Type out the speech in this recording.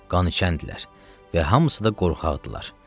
Qan içəndilər və hamısı da qorxaqdırlar.